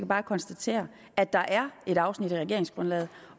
bare konstatere at der er et afsnit i regeringsgrundlaget